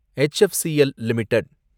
HFCL limited